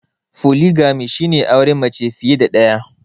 Foligamy shi ne auren mace fiye da daya.